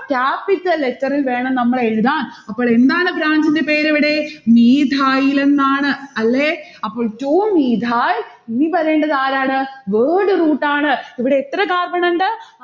capital letter ഇൽ വേണം നമ്മൾ എഴുതാൻ. അപ്പോളെന്താണ് branch ന്റെ പേർ ഇവിടെ? methyl ലെന്നാണ് അല്ലെ? അപ്പോൾ two methyl. ഇനി വരേണ്ടത് ആരാണ്? word root ആണ്. ഇവിടെ എത്ര carbon ഉണ്ട്?